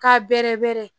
K'a bɛrɛ bɛɛrɛ